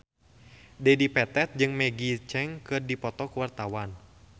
Dedi Petet jeung Maggie Cheung keur dipoto ku wartawan